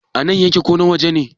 a nan yake ko na waje ne?